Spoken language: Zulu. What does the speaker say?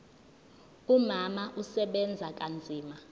umama usebenza kanzima